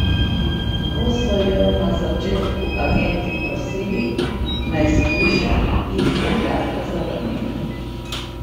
Ko so jo na začetku agenti prosili, naj shujša, jih je gladko zavrnila.